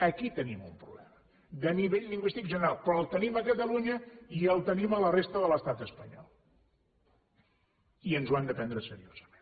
aquí tenim un problema de nivell lingüístic general però el tenim a catalunya i el tenim a la resta de l’estat espanyol i ens ho hem de prendre seriosament